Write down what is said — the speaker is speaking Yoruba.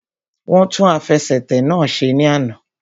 Wọ́n tún àfẹsẹ̀tẹ̀ náà ṣe ní àná